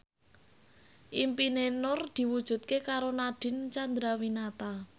impine Nur diwujudke karo Nadine Chandrawinata